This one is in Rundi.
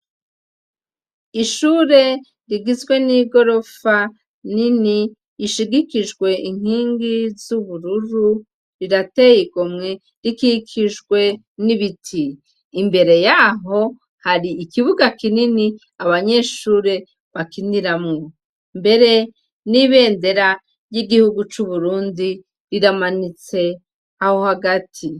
Ishure rigizwe n'igorofa nini, ishigikijwe inkingi z'ubururu, rirateye igomwe, rikikijwe n'ibiti. Imbere y'aho, hari ikibuga kinini abanyeshure bakiniramwo, mbere n'ibendera ry'igihugu c'Uburundi riramanitse aho hagati.